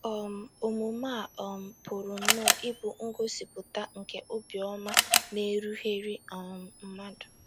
um Omume a um pụrụ nnọọ ịbụ ngosipụta nke obiọma na-erughịrị um mmadụ.